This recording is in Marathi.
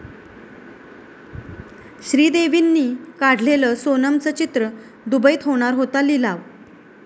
श्रीदेवींनी काढलेलं सोनमचं चित्र, दुबईत होणार होता लिलाव